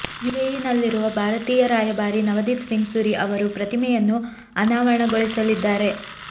ಯುಎಇನಲ್ಲಿರುವ ಭಾರತೀಯ ರಾಯಭಾರಿ ನವದೀಪ್ ಸಿಂಗ್ ಸುರಿ ಅವರು ಪ್ರತಿಮೆಯನ್ನು ಅನಾವರಣಗೊಳಿಸಲಿದ್ದಾರೆ